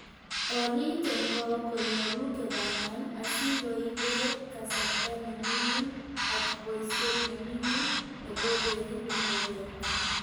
Orit en goo konyolu kebang'an, asikoibe kasarta ne mingin ak boisiet ne mingin nebo keriib ingogenik.